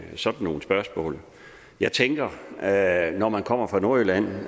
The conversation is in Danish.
sådan nogle spørgsmål jeg tænker at når man kommer fra nordjylland